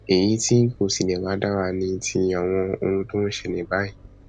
èyí tí kò tilẹ wàá dára ni ti àwọn ohun tó ń ṣẹlẹ báyìí